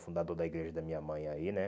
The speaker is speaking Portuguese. Fundador da igreja da minha mãe aí, né?